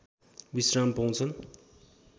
विश्राम पाउँछन्